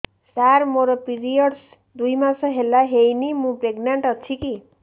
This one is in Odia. ସାର ମୋର ପିରୀଅଡ଼ସ ଦୁଇ ମାସ ହେଲା ହେଇନି ମୁ ପ୍ରେଗନାଂଟ ଅଛି କି